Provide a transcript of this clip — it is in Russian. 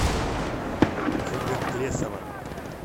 ольга тлесова